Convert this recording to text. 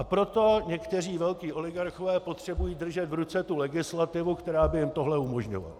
A proto někteří velcí oligarchové potřebují držet v ruce tu legislativu, která by jim tohle umožňovala.